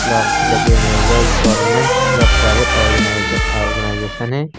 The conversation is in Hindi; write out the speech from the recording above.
फ्लावर्स भी लगे हुए हैं यह एक गवर्नमेंट या प्राइवेट ओर्गेनाइज ऑर्गेनाइजेशन है।